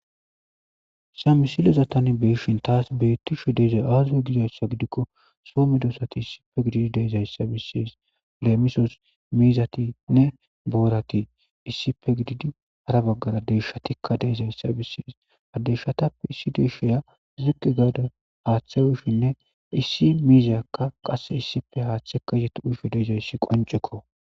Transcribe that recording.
samisilezatani beshin taas beittisho deezay aazu gidayssa gidikko soome doosati issife gididi deizayssa bissiis leemisos miizatinne boorati issife gididi hara baggara deeshatikka deezayssa bissiis adeshatappe issi deeshoya zuqi gaada haaththe ushinne issi miizakka qasse issife haaththe ka izeti uysfhe deezayssi qoncekko